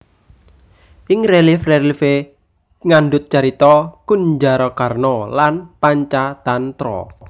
Ing relief relief e ngandhut carita Kunjarakarna lan Pancatantra